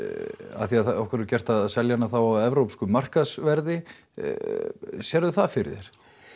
af því að okkur er gert að selja hana á evrópsku verði sérðu það fyrir þér